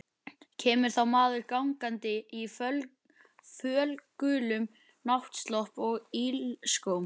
Kemur þá maður gangandi í fölgulum náttslopp og ilskóm.